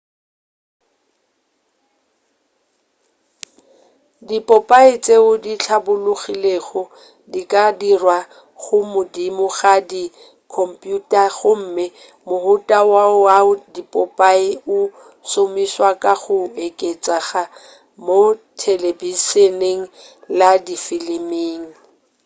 dipopae tšeo di hlabologilego di ka dirwa godimo ga di khomphuta gomme mohuta wo wa dipopae o šomišwa ka go oketšega mo thelebišeneng le difiliming